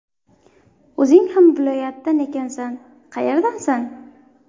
O‘zing ham viloyatdan ekansan, qayerdansan?